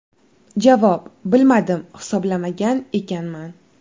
Javob: Bilmadim, hisoblamagan ekanman.